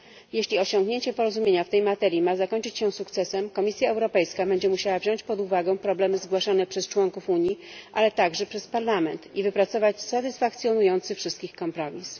Jeśli osiągnięcie porozumienia w tej materii ma zakończyć się sukcesem, Komisja Europejska będzie musiała wziąć pod uwagę problemy zgłaszane przez członków Unii, ale także przez Parlament, i wypracować satysfakcjonujący wszystkich kompromis.